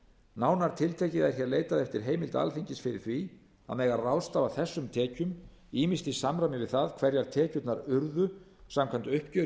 nánar tiltekið er hér leitað eftir heimild alþingis fyrir því að mega ráðstafa þessum tekjum ýmist í samræmi við það hverjar tekjurnar urðu samkvæmt uppgjöri